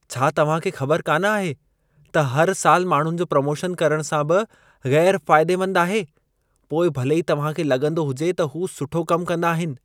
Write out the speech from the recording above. छा तव्हां खे ख़बर कान आहे त हर साल माण्हुनि जो प्रोमोशन करण सां बि ग़ैर फायदेमंदु आहे, पोइ भले ई तव्हां खे लॻंदो हुजे त हू सुठो कमु कंदा आहिन।